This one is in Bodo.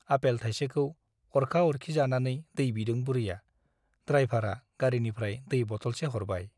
आपेल थाइसेखौ अरखा अरखि जानानै दै बिदों बुरैया द्राइभारआ गारीनिफ्राय दै बटलसे हरबाय ।